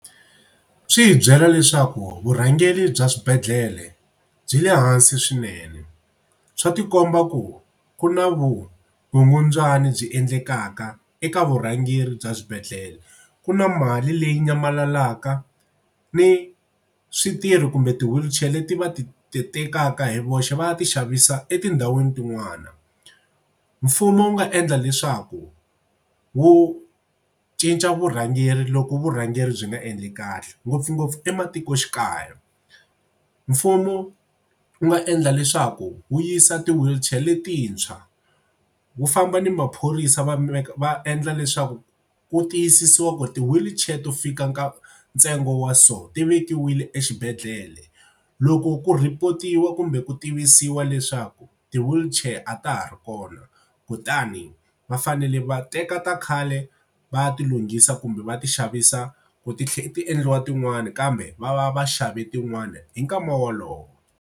Swi hi byela leswaku vurhangeri bya swibedhlele byi le hansi swinene. Swa tikomba ku na vukungundzwani byi endlekaka eka vurhangeri bya swibedhlele. Ku na mali leyi nyamalalaka ni switirhi kumbe ti-wheelchair leti va ti tekaka hi voxe va ya ti xavisa etindhawini tin'wana. Mfumo wu nga endla leswaku wu cinca vurhangeri loko vurhangeri byi nga endli kahle ngopfungopfu ematikoxikaya. Mfumo wu nga endla leswaku wu yisa ti-wheelchair letintshwa wu famba ni maphorisa va va endla leswaku ku tiyisisiwa ku ti-wheelchair to fika ntsengo wa so ti vekiwile exibedhlele. Loko ku report-iwa kumbe ku tivisiwa leswaku ti-wheelchair a ta ha ri kona kutani va fanele va teka ta khale va ya ti lunghisa kumbe va ti xavisa ku ti tlhela ti endliwa tin'wani kambe va va va xave tin'wani hi nkama wolowo.